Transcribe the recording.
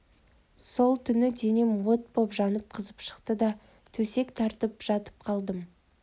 сол түні денем от боп жанып қызып шықты да төсек тартып жатып қалдым